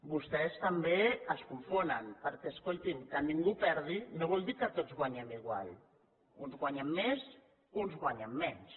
vostès també es confonen perquè escoltin que ningú perdi no vol dir que tots guanyem igual uns guanyen més uns guanyen menys